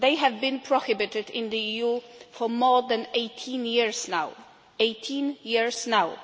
They have been prohibited in the EU for more than 18 years now.